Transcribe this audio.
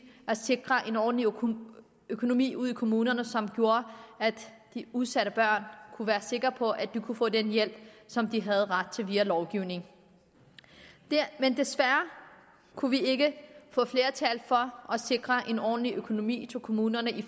at sikre en ordentlig økonomi ude i kommunerne som gjorde at de udsatte børn kunne være sikre på at de kunne få den hjælp som de havde ret til via lovgivningen men desværre kunne vi ikke få flertal for at sikre en ordentlig økonomi til kommunerne i